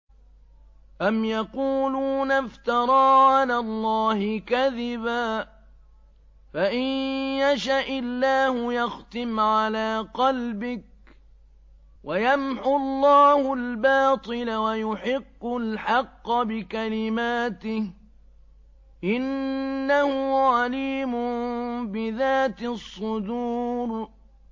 أَمْ يَقُولُونَ افْتَرَىٰ عَلَى اللَّهِ كَذِبًا ۖ فَإِن يَشَإِ اللَّهُ يَخْتِمْ عَلَىٰ قَلْبِكَ ۗ وَيَمْحُ اللَّهُ الْبَاطِلَ وَيُحِقُّ الْحَقَّ بِكَلِمَاتِهِ ۚ إِنَّهُ عَلِيمٌ بِذَاتِ الصُّدُورِ